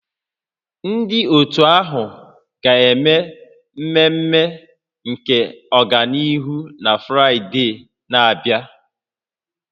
Ndị otu ahụ ga-eme mmemme nke ọganihu na Fraịde na-abịa